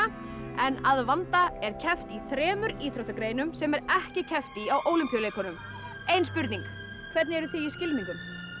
en að vanda er keppt í þremur íþróttagreinum sem er ekki keppt í á Ólympíuleikunum ein spurning hvernig eruð þið í skylmingum